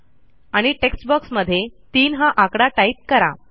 आणि टेक्स्ट बॉक्समध्ये 3 हा आकडा टाईप करा